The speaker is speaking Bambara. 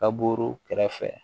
Ka buru kɛrɛfɛ